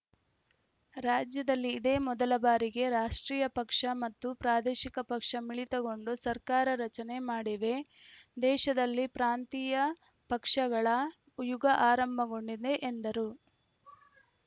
ರಾಜ್ಯದಲ್ಲಿ ಇದೇ ಮೊದಲ ಬಾರಿಗೆ ರಾಷ್ಟ್ರೀಯ ಪಕ್ಷ ಮತ್ತು ಪ್ರಾದೇಶಿಕ ಪಕ್ಷ ಮಿಳಿತಗೊಂಡು ಸರ್ಕಾರ ರಚನೆ ಮಾಡಿವೆ ದೇಶದಲ್ಲಿ ಪ್ರಾಂತೀಯ ಪಕ್ಷಗಳ ಯುಗ ಆರಂಭಗೊಂಡಿದೆ ಎಂದರು